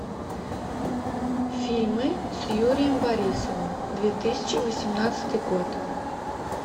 фильмы с юрием борисовым две тысячи восемнадцатый год